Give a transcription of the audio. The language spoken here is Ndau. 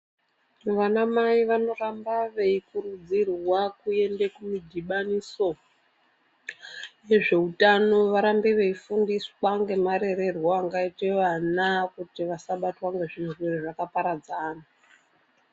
Vana mai vanoramba veikurudzirwa kuende kumudhibaniso wezveutano varambe veifundiswa ngemarererwo angaitwe vana kuti vasabatwa ngezvirwere zvakaparadzana.